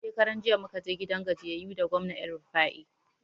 Shekaran jiya muka je gidan gajiyayu da gwamna elrufai